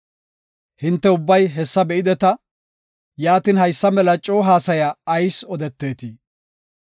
Hinte ubbay hessa be7ideta; yaatin, haysa mela coo haasaya ayis odeteetii?